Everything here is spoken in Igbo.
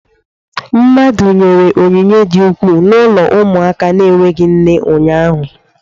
Mmadụ nyere onyinye di ukwuu n'ụlọ ụmụaka na-enweghị nne ụnyaahụ.